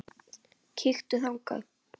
Kíktu þangað.